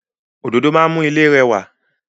Òdòdó máa ń mú ilé rẹwà.